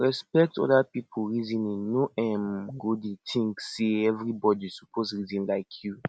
respekt oda pipo reasoning no um go dey think sey evribodi soppse reason like yu